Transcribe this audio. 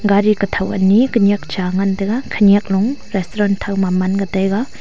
gari khatho ani khanyak cha ngan taiga khanyak lo restaurant thakma manga taiga.